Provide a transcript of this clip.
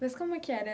Mas como que era?